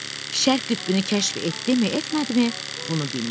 Şərq qütbünü kəşf etdimi, etmədimi, bunu bilmirəm.